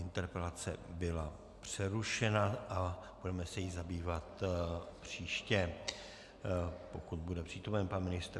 Interpelace byla přerušena a budeme se jí zabývat příště, pokud bude přítomen pan ministr.